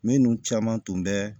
Minnu caman tun bɛ